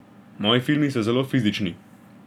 Moji filmi so zelo fizični.